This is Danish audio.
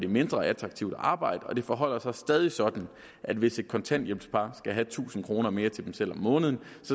mindre attraktivt at arbejde og det forholder sig stadig sådan at hvis et kontanthjælp skal have tusind kroner mere til sig selv om måneden